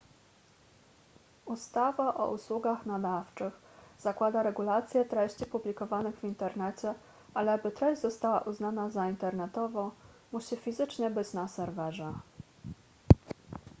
ustawa o usługach nadawczych zakłada regulację treści publikowanych w internecie ale by treść została uznana za internetową musi fizycznie być na serwerze